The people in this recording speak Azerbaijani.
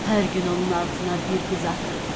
Hər gün onun ağzına bir qız atırıq.